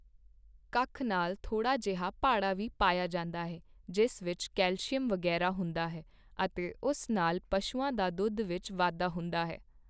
ਕੱਖ ਨਾਲ਼ ਥੋੜ੍ਹਾ ਜਿਹਾ ਭਾੜਾ ਵੀ ਪਾਇਆ ਜਾਂਦਾ ਹੈ ਜਿਸ ਵਿੱਚ ਕੈਲਸ਼ੀਅਮ ਵਗ਼ੈਰਾ ਹੁੰਦਾ ਹੈ ਅਤੇ ਉਸ ਨਾਲ਼ ਪਸ਼ੂਆਂ ਦਾ ਦੁੱਧ ਵਿੱਚ ਵਾਧਾ ਹੁੰਦਾ ਹੈ।